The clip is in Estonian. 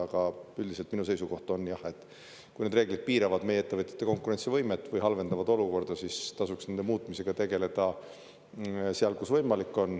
Aga üldiselt minu seisukoht on, et kui need reeglid piiravad meie ettevõtjate konkurentsivõimet või halvendavad olukorda, siis tasuks nende muutmisega tegeleda seal, kus võimalik on.